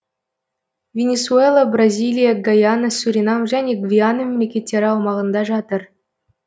венесуэла бразилия гайана суринам және гвиана мемлекеттері аумағында жатыр